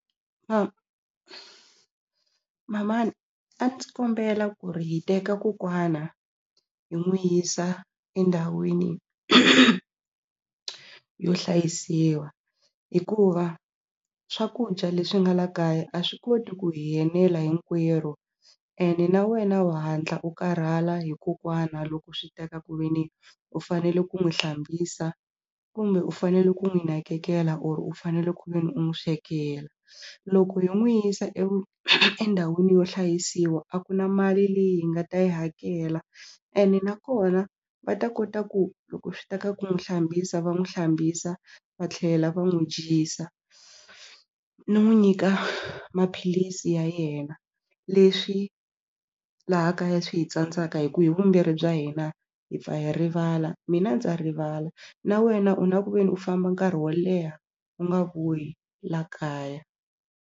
mamani a ndzi kombela ku ri hi teka kokwana hi n'wu yisa endhawini yo hlayisiwa hikuva swakudya leswi nga la kaya a swi koti ku hi enela hinkwerhu ene na wena u hatla u karhala hi kokwana loko swi ta ka ku ve ni u fanele ku n'wi hlambisa kumbe u fanele ku n'wi nakekela or u fanele ku ve ni u n'wi swekela loko yo n'wi yisa endhawini yo hlayisiwa a ku na mali leyi hi nga ta yi hakela ene nakona va ta kota ku loko swi ta ka ku n'wi hlambisa va n'wi hlambisa va tlhela va n'wi dyisa no n'wi nyika ka maphilisi ya yena leswi laha kaya swi hi tsandzaka hi ku hi vumbirhi bya hina hi pfa hi rivala mina ndza rivala na wena u na ku ve ni u famba nkarhi wo leha u nga vuyi la kaya.